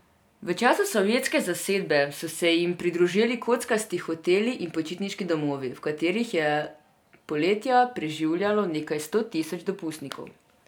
V času sovjetske zasedbe so se jim pridružili kockasti hoteli in počitniški domovi, v katerih je poletja preživljalo nekaj sto tisoč dopustnikov.